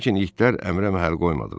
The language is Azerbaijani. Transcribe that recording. Lakin itlər əmrə məhəl qoymadılar.